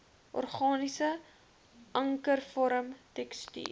organiese ankervorm tekstuur